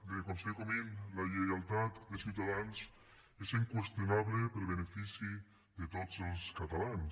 bé conseller comín la lleialtat de ciutadans és inqüestionable per al benefici de tots els catalans